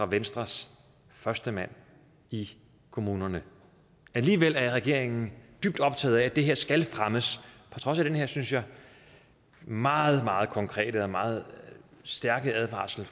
venstres førstemand i kommunerne alligevel er regeringen dybt optaget af at det her skal fremmes på trods af den her synes jeg meget meget konkrete og meget stærke advarsel